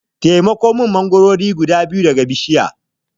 Taimako min mangoro guda biyu daga bishiya.